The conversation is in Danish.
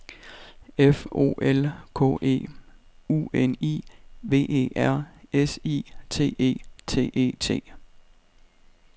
F O L K E U N I V E R S I T E T E T